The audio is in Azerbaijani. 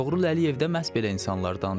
Toğrul Əliyev də məhz belə insanlardandır.